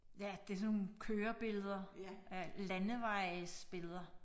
Ja det sådan nogle kørebilleder af landevejsbilleder